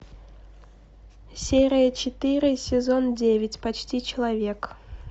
серия четыре сезон девять почти человек